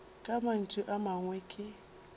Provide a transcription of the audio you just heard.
ka mantšu a mangwe ke